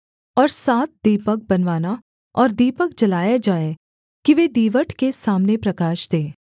और सात दीपक बनवाना और दीपक जलाए जाएँ कि वे दीवट के सामने प्रकाश दें